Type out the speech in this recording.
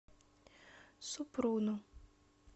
супруну